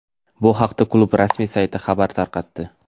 Bu haqda klub rasmiy sayti xabar tarqatdi.